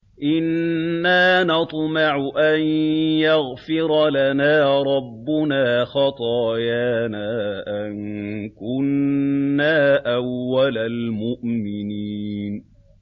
إِنَّا نَطْمَعُ أَن يَغْفِرَ لَنَا رَبُّنَا خَطَايَانَا أَن كُنَّا أَوَّلَ الْمُؤْمِنِينَ